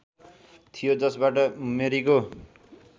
थियो जसबाट मेरीको